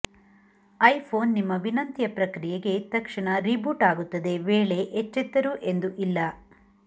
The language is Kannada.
ಐಫೋನ್ ನಿಮ್ಮ ವಿನಂತಿಯ ಪ್ರಕ್ರಿಯೆಗೆ ತಕ್ಷಣ ರೀಬೂಟ್ ಆಗುತ್ತದೆ ವೇಳೆ ಎಚ್ಚೆತ್ತರು ಎಂದು ಇಲ್ಲ